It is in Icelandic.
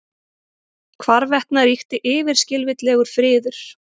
Hvarvetna ríkti yfirskilvitlegur friður.